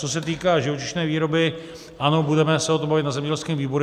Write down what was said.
Co se týká živočišné výroby, ano, budeme se o tom bavit na zemědělském výboru.